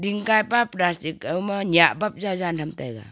gaipa plastic ago ma ngaih bap cha Jen tai taiga.